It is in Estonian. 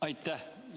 Aitäh!